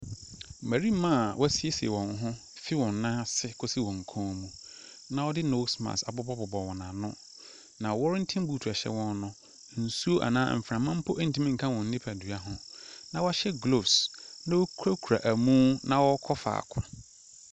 Mmarima a wɔasiesie wɔn ho firi wɔn nan ase kɔsi wɔn kɔn mu, na wɔde nose mask abobɔbobɔ wɔn ano, na wɔrantin buutu a ɛhyɛ wɔn no, nsuo anaa mframa mpo ntumi nka wɔn nnipadua ho, na wɔahyɛ gloves na wɔkurakura ɛmo na wɔrekɔ faako.